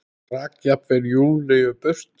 Rak jafnvel Júlíu burt.